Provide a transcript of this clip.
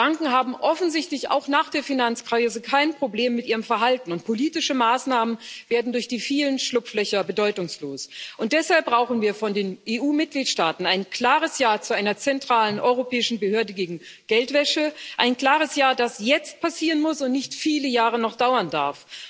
Banken haben offensichtlich auch nach der Finanzkrise kein Problem mit ihrem Verhalten, und politische Maßnahmen werden durch die vielen Schlupflöcher bedeutungslos. Und deshalb brauchen wir von den EU Mitgliedstaaten ein klares Ja zu einer zentralen europäischen Behörde gegen Geldwäsche ein klares Ja, das jetzt passieren muss und nicht noch viele Jahre dauern darf.